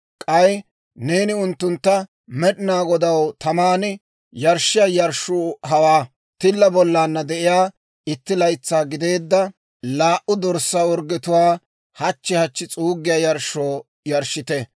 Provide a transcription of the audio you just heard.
K'ay neeni unttuntta, ‹Med'inaa Godaw taman yarshshiyaa yarshshuu hawaa: tilla bollana de'iyaa, itti laytsaa gideedda laa"u dorssaa orggetuwaa hachchi hachchi s'uuggiyaa yarshshoo yarshshite;